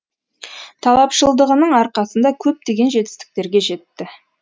талапшылдығының арқасында көптеген жетістіктерге жетті